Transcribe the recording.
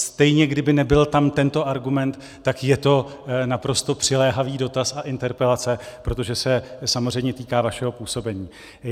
Stejně kdyby nebyl tam tento argument, tak je to naprosto přiléhavý dotaz a interpelace, protože se samozřejmě týká vašeho působení.